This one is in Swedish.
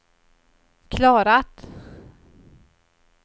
klarat